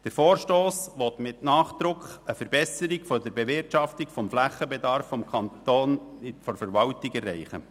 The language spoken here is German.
Der Vorstoss will mit Nachdruck eine Verbesserung der Bewirtschaftung des Flächenbedarfs der kantonalen Verwaltung erreichen.